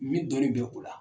Min dɔnni bɛ u la.